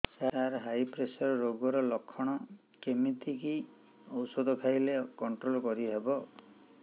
ସାର high pressure ରୋଗର ଲଖଣ କେମିତି କି ଓଷଧ ଖାଇଲେ କଂଟ୍ରୋଲ କରିହେବ